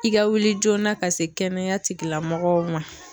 I ga wuli joona ka se kɛnɛya tigila mɔgɔw ma